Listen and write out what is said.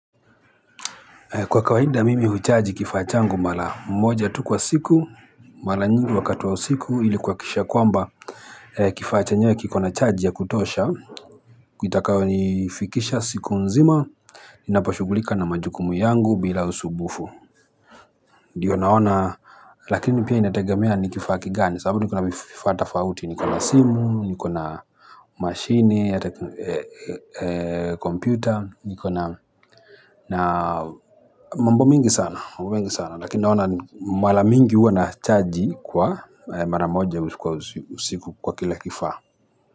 Kwa kawaida mimi huchaji kifaa changu mara moja tu kwa siku, mara nyingi wakati wa siku ili kuhakikisha kwamba kifaa chenye kiko na chaji ya kutosha, kitakayonifikisha siku nzima, ninaposhugulika na majukumu yangu bila usumbufu. Diyo naona, lakini pia inatagamea ni kifaa kigani, sababu niko na vifaa tofauti, niko na simu, niko na mashini, kompyuta, niko na na mambo mingi sana, mengi sana lakini naona mara mingi huwa nachaji kwa mara moja usiku kwa kila kifaa.